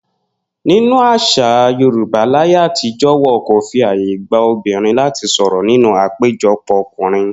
Nínú às̩à Yorùbá láyé àtijó̩, wo̩n kò fi àyè gba obìnrin láti sò̩rò̩ nínú àpéjo̩pò̩ o̩kùnrin